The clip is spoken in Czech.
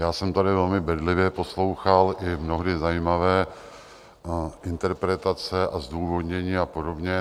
Já jsem tady velmi bedlivě poslouchal i mnohdy zajímavé interpretace a zdůvodnění a podobně.